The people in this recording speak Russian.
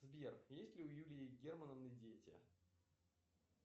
сбер есть ли у юлии германовны дети